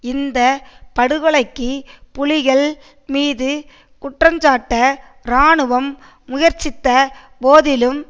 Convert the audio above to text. இந்த படுகொலைக்கு புலிகள் மீது குற்றஞ்சாட்ட இராணுவம் முயற்சித்த போதிலும்